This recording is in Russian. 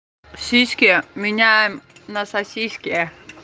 сиськи меняем на сосиски